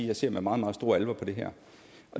jeg ser med meget meget stor alvor på det her